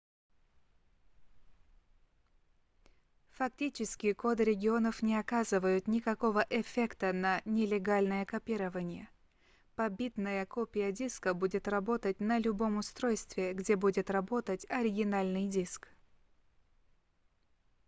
фактически коды регионов не оказывают никакого эффекта на нелегальное копирование побитная копия диска будет работать на любом устройстве где будет работать оригинальный диск